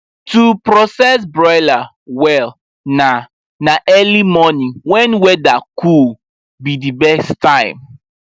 to process broiler well na na early morning when weather cool be the best time